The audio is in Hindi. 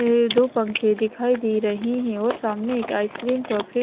अ दो पंखे दिखाई दे रहे है और सामने एक आइस क्रीम का फ्री--